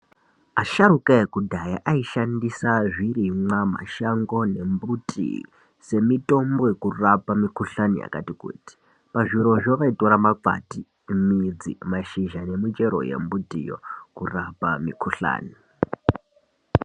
Asharuka ekudhaya aishandisa zvirimwa mashango nembiti semitombo yekurapa mikhuhlani yakati kuti. Pazvirozvo vaitora makwati ,midzi ,mashizha, nemichero yembitiyo, kurapa mikhuhlani.